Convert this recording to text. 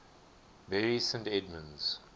bury st edmunds